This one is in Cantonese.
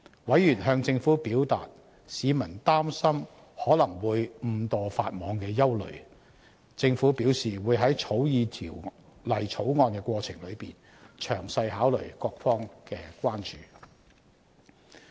委員向政府表達市民擔心可能會誤墮法網的憂慮，政府表示會在草擬《條例草案》的過程中，詳細考慮各方提出的關注。